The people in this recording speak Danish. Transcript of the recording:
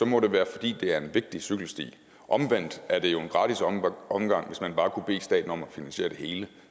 må det være fordi det er en vigtig cykelsti omvendt er det jo en gratis omgang omgang hvis man bare kunne bede staten om at finansiere det hele